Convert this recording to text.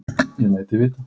Ég læt þig vita.